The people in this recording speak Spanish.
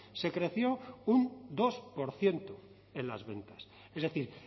se creció un dos por ciento en las ventas es decir